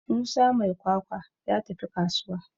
Musa mai kwakwa ya tafi kasuwa